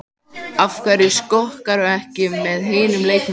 Af hverju skokkarðu ekki með hinum leikmönnunum?